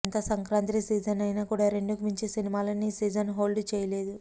ఎంత సంక్రాంతి సీజన్ అయినా కూడా రెండుకు మించి సినిమాలను ఈ సీజన్ హోల్డ్ చేయలేదు